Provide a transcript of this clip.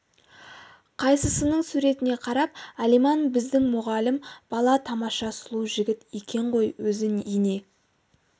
қайнысының суретіне қарап алиман біздің мұғалім бала тамаша сұлу жігіт екен ғой өзі ене